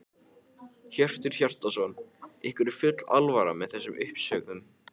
Hjörtur Hjartarson: Ykkur er full alvara með þessum uppsögnum?